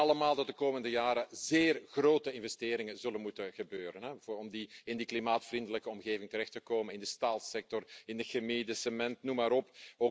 We weten allemaal dat de komende jaren zeer grote investeringen zullen moeten worden gedaan om in een klimaatvriendelijke omgeving terecht te komen in de staalsector, in de chemie, de cement, noem maar op.